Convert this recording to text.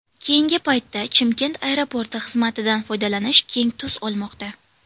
Keyingi paytda Chimkent aeroporti xizmatidan foydalanish keng tus olmoqda.